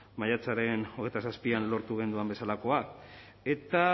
maiatzaren hogeita zazpian lortu genuen bezalakoa eta